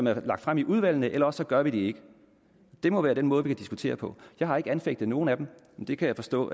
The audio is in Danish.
er lagt frem i udvalgene eller også gør vi det ikke det må være den måde vi diskuterer på jeg har ikke anfægtet nogle af dem men det kan jeg forstå